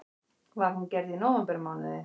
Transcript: Var hún gerð í nóvembermánuði